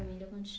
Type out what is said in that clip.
Da onde